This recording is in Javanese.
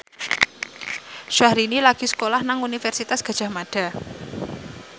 Syahrini lagi sekolah nang Universitas Gadjah Mada